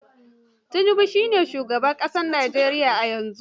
Tinub shi ne shugaban ƙasar Nijeriya a yanzu.